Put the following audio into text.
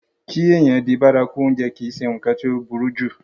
kí èèyàn di bárakú oúnjẹ kìí se ǹkan tí ó burú jù